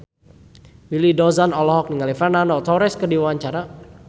Willy Dozan olohok ningali Fernando Torres keur diwawancara